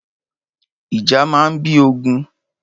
Ìjà máa ń bí ogun.